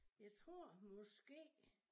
Jeg tror måske